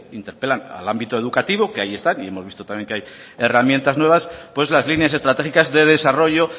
interpelan en el ámbito educativo que hay están y hemos visto que hay herramientas nuevas pues las líneas estratégicas de desarrollo